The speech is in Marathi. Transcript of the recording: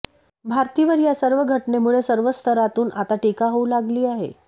भारतीवर या सर्व घटनेमुळे सर्व स्तरातूनआता टीका होऊ लागली आहे